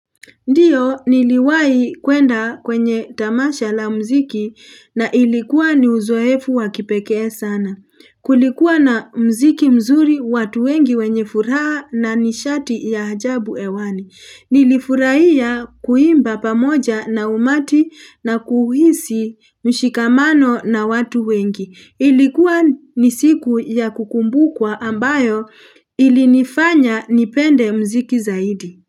Ndiyo niliwahi kuenda kwenye tamasha la mziki na ilikuwa ni uzoefu wa kipekee sana. Kulikuwa na mziki mzuri watu wengi wenye furaha na nishati ya ajabu hewani. Nilifurahia kuimba pamoja na umati na kuhisi mshikamano na watu wengi. Ilikuwa ni siku ya kukumbukwa ambayo ilinifanya nipende mziki zaidi.